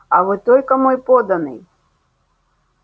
а вы только мой подданный